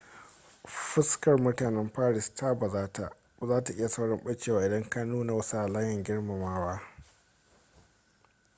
fuskar mutanen paris ta bazata za ta yi saurin ɓacewa idan ka nuna wasu halayen girmamawa